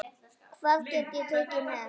Hvað get ég tekið með?